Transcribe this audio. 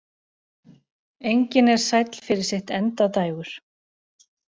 Engin er sæll fyrir sitt endadægur.